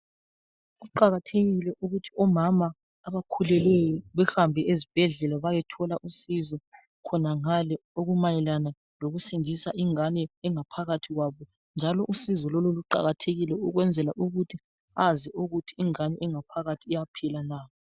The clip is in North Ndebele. kuqakathekile ukuthi omama abakhulelweyo behambe ezibhedlela bayethola usizo khonangale okumayelane lokusindisa ingane engaphakathi kwabo njalo usizo lolu luqakathekile ukwenzela ukuthi azi ukuthi ingane ephakathi iyaphila na